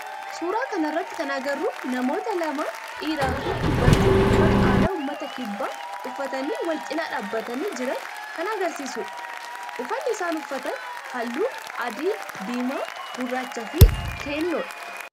suuraa kana irratti kan agarru namoota lama dhiira fi dubartii uffata aadaa ummata kibbaa uffatanii wal cinaa dhaabbatanii jiran kan agarsiisudha. uffanni isaan uffatan halluu adii, diimaa, gurraacha fi keelloodha.